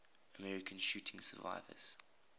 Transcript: american shooting survivors